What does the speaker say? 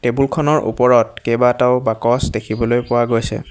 Table খনৰ উপৰত কেইবাটাও বাকচ দেখিবলৈ পোৱা গৈছে।